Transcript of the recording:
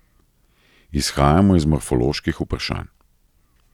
Izhajamo iz morfoloških vprašanj.